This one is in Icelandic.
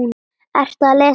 Ertu að lesa upp?